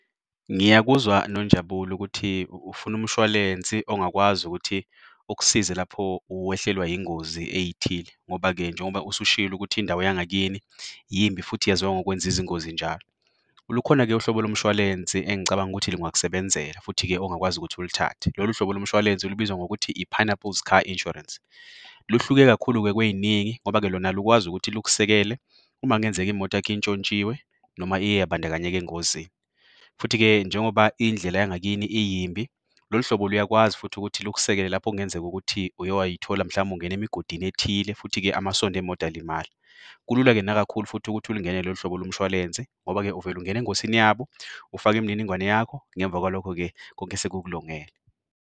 Ngiyakuzwa Nonjabulo ukuthi ufuna umshwalense ongakwazi ukuthi ukusize lapho uwehlelwa yingozi ey'thile ngoba-ke njengoba usushilo ukuthi indawo yangakini yimbi futhi yaziwa ngokwenza izingozi njalo. Lukhona-ke uhlobo lomshwalense engicabanga ukuthi lungakusebenzela, futhi-ke ongakwazi ukuthi ulithathe. Lolu hlobo lomshwalense libizwa ngokuthi i-Pineapple's Car Insurance. Luhluke kakhulu-ke kwey'ningi ngoba-ke lona lukwazi ukuthi lukusekele uma kungenzeka imoto yakho intshontshiwe noma iye yabandakanyeka engozini. Futhi-ke njengoba indlela yangakini iyimbi, lolu hlobo luyakwazi futhi ukuthi lukusekele lapho kungenzeka ukuthi uye way'thola mhlambe ungena emigodini ethile, futhi ke-amasondo emoto alimala. Kulula-ke nakakhulu futhi ukuthi ulingenele lolu hlobo lomshwalense ngoba-ke vele ungene engosini yabo, ufake imininingwane yakho ngemva kwalokho-ke konke sekukulungele.